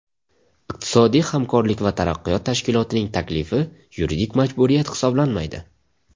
Iqtisodiy hamkorlik va taraqqiyot tashkilotining taklifi yuridik majburiyat hisoblanmaydi.